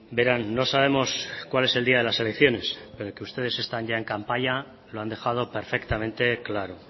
verán no sabemos cuál es el día de las elecciones pero que ustedes están ya en campaña lo han dejado perfectamente claro